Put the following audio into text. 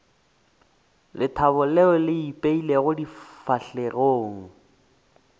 lethabo leo le ipeilego difahlegong